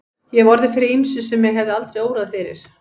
Ég hef orðið fyrir ýmsu sem mig hefði aldrei órað fyrir.